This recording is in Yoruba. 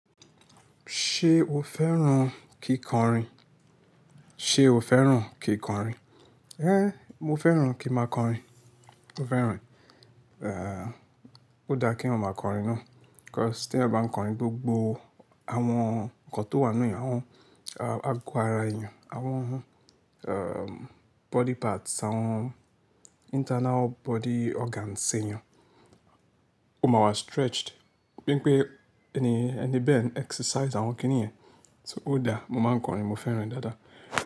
Ṣé o fẹ́ràn kíkọrin? Ṣé o fẹ́ràn kìkọrin? É, mo fẹ́ràn kí máa kọrin. Mo fẹ́ràn, eh, ó dá kí èèyàn máa kọrin ná. 'Cause tí a bá ń kọrin, gbogbo àwọn nǹkan tó wà nínú èèyàn, àwọn, ah, àgò ara èèyàn, àwọn, um, body parts, àwọn internal body organs èèyàn. Ó máa wá stretched. Bí i pé ẹni, ẹni bẹ́ẹ̀ ń exercise àwọn kíní ẹ̀. So ó dá, mo máa ń kọrin, mo fẹ́ràn dáadáa.